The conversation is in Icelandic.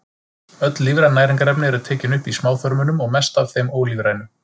Öll lífræn næringarefni eru tekin upp í smáþörmunum og mest af þeim ólífrænu.